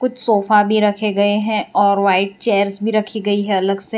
Sofa भी रखे गए हैं और व्हाइट चेयर्स भी रखी गई है अलग से।